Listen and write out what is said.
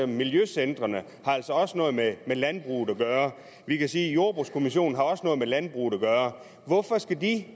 miljøcentrene har altså også noget med landbrug at gøre og vi kan sige at jordbrugskommissionen også har noget med landbrug at gøre hvorfor skal de